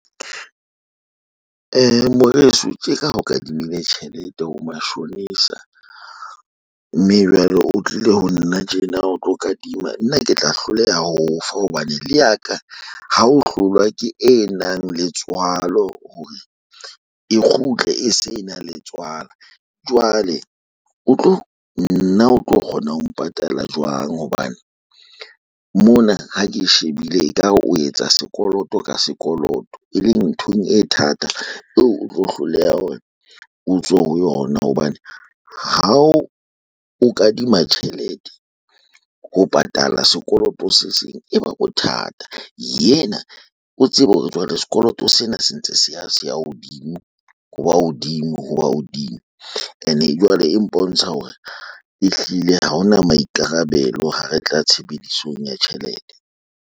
Moreso tjeka ho kadimile tjhelete ho mashonisa mme jwale o tlile ho nna tjena o tlo kadima nna ke tla hloleha ho o fa hobane le ya ka ha ho hlolwa ke e nang le tswalo hore e kgutle e se na le tswala. Jwale o tlo nna o tlo kgona ho patala jwang hobane mona ha ke e shebile e ka re o etsa sekoloto ka sekoloto e leng nthong e thata eo o tlo hloleha hore o tswe ho yona hobane ha o o kadima tjhelete ho patala sekoloto se seng e ba bothata. Yena o tsebe hore jwale sekoloto sena se ntse se ya se ya hodimo. Ho ba hodimo ho ba hodimo ene jwale e mpontsha hore ehlile ha ona maikarabelo ha re tla tshebedisong ya tjhelete.